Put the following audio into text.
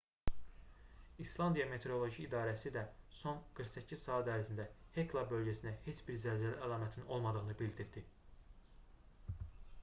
i̇slandiya meteoroloji i̇darəsi də son 48 saat ərzində hekla bölgəsində heç bir zəlzələ əlamətinin olmadığını bildirdi